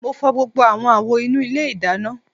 Mo fọ gbogbo awọn awo inu ile idana